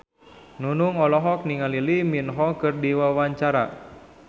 Nunung olohok ningali Lee Min Ho keur diwawancara